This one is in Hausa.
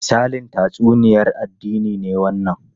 Misalin tatsuniyar addini ne wannan?